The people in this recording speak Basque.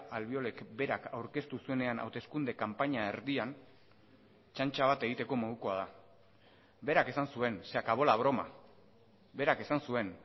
albiolek berak aurkeztu zuenean hauteskunde kanpaina erdian txantxa bat egiteko modukoa da berak esan zuen se acabó la broma berak esan zuen